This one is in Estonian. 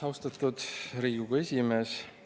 Austatud Riigikogu esimees!